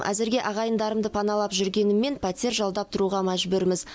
әзірге ағайындарымды паналап жүргеніммен пәтер жалдап тұруға мәжбүрміз